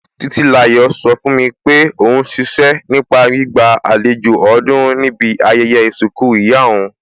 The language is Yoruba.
Títílayọ̀ sọ fún mi pé òún ṣiṣẹ́ nípa gbígba àlejò ọ̀ọ́dúrún níbi ayẹyẹ ìsìnkú ìyá òún